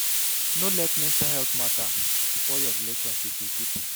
No let mental healt mata spoil your relationship with pipo.